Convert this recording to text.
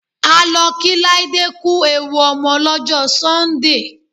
A lọ kí Láídé ku ewu ọmọ lọ́jọ́ Sọ́ńdè.